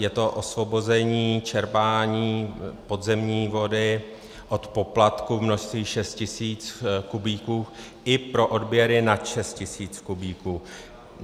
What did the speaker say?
Je to osvobození čerpání podzemní vody od poplatku v množství 6 tis. kubíků i pro odběry nad 6 tis. kubíků.